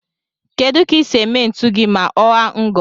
Kedu ka ise eme ntu gi ma ọaa ngo